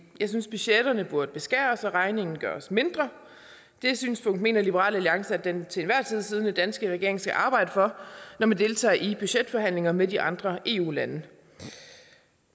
jeg synes at budgetterne burde beskæres og regningen gøres mindre det synspunkt mener liberal alliance at den til enhver tid siddende danske regering skal arbejde for når den deltager i budgetforhandlinger med de andre eu lande